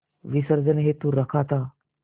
विसर्जन हेतु रखा था